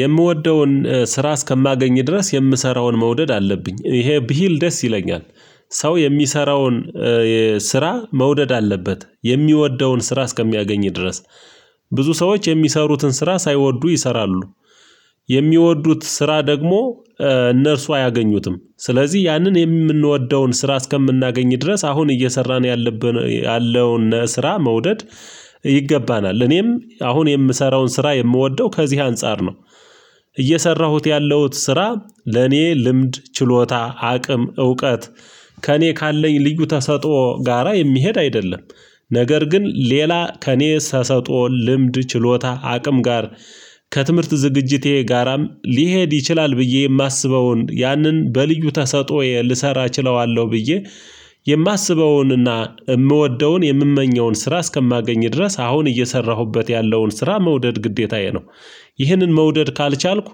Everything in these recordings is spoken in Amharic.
የምወደውን ስራ እስከማገኝ ድረስ የምሰራውን መውደድ አለብኝ እሄ ብሂል ደስ ይለኛል ሰው የሚሰራውን ስራ መውደድ አለበት የሚወደውን ስራ እስከሚያገኝ ድረስ ብዙ ሰዎች የሚሰሩትን ስራ ሳይወዱ ይሰራሉ የሚወዱት ስራ ደግሞ እነርሱ አያገኙትም ስለዚህ ያንን የምንወደውን ስራ እስከምናገኝ ድረስ አሁን እየሰራን ያለብን ያለው እነ ስራ መውደድ ይገባናል ለኔም አሁን የምሰራውን ስራ የምወደው ከዚህ አንፃር ነው። እየሰራሁት ያለሁት ስራ ለኔ ልምድ ችሎታ አቅም እውቀት ከኔ ካለኝ ልዩ ተሰጦ ጋራ የሚሄድ አይደለም ነገር ግን ሌላ ከእኔ ሰሰጦ ልምድ ችሎታ አቅም ጋር ከትምህርት ዝግጅቴ ጋራም ሊሄድ ይችላል ብዬ የማስበውን ያንን በልዩ ተሰጥኦዬ ልሰራ እችለዋለሁ ብዬ የማስበውንና የምወደውን የምመኘውን ስራ እስከማገኝ ድረስ አሁን እየሰራሁበት ያለውን ስራ መውደድ ግዴታዬ ነው። ይህንን መውደድ ካልቻልኩ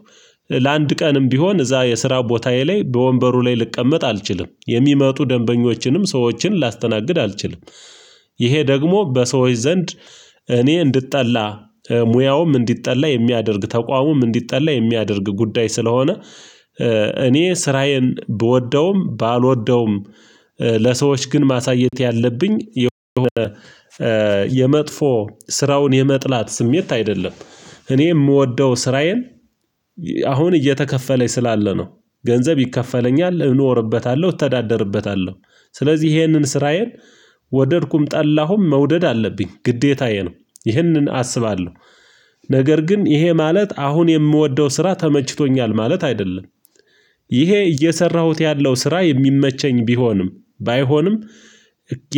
ለአንድ ቀንም ቢሆን እዛ የስራ ቦታዬ ላይ በወንበሩ ላይ ልቀመጥ አልችልም የሚመጡ ደንበኞችንም ሰዎችን ላስተናግድ አልችልም ይሄ ደግሞ በሰዎች ዘንድ እኔ እንዲጠላ ሙያውም እንዲጠላ የሚያደርግ ተቋሙም እንዲጠላ የሚያደርግ ጉዳይ ስለሆነ እኔ ስራዬን ብወደውም ባልወደውም ለሰዎች ግን ማሳየት ያለብኝ የሆነ የመጥፎ ስራውን የመጥላት ስሜት አይደለም እኔ የምወደው ስራዬን"" አሁን እየተከፈለ ስላለ ነው ገንዘብ ይከፈለኛል እኖርበታለሁ እተዳደርበታለሁ ስለዚህ ይሄንን ስራዬን ወደድኩም ጠላሁም መውደድ አለብኝ ግዴታዬ ነው ይህንን አስባለሁ ነገር ግን ይሄ ማለት አሁን የምወደው ስራ ተመችቶኛል ማለት አይደለም ይሄ እየሰራሁት ያለው ስራ የሚመቸኝ ቢሆንም ባይሆንም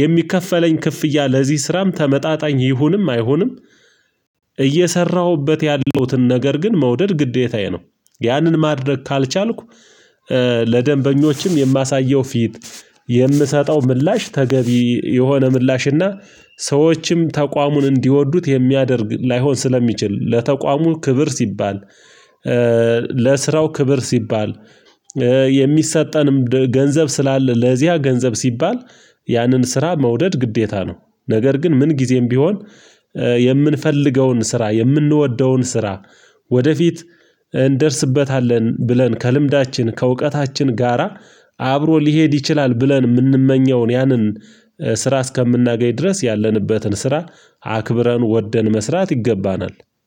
የሚከፈለኝ ክፍያ ለዚህ ስራም ተመጣጣኝ ይሁንም አይሁንም"" እየሰራሁበት ያለውትን ነገር ግን መውደድ ግዴታዬ ነው ያንን ማድረግ ካልቻልኩ ለደንበኞችም የማሳየው ፊት የምሰጠው ምላሽ ተገቢ የሆነ ምላሽ እና ሰዎችም ተቋሙን እንዲወዱት የሚያደርግ ላይሆን ስለሚችል ለተቋሙ ክብር ሲባል ለሥራው ክብር ስባል የሚሰጠንም ገንዘብ ስላለ ለዚያ ገንዘብ ሲባል ያንን ስራ መውደድ ግዴታ ነው። ነገር ግን ምን ጊዜም ቢሆን የምንፈልገውን ስራ የምንወደውን ስራ ወደፊት እንደርስበታለን ብለን ከልምዳችን ከእውቀታችን ጋራ አብሮ ልሄድ ይችላል ብለን የምንመኘውን ያንን ስራ እስከምናገኝ ድረስ ያለንበትን ስራ አክብረን ወደን መስራት ይገባናል።